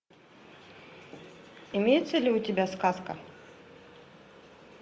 имеется ли у тебя сказка